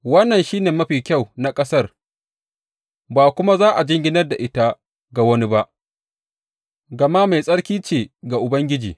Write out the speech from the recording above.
Wannan shi ne mafi kyau na ƙasar ba kuma za a jinginar da ita ga wani ba, gama mai tsarki ce ga Ubangiji.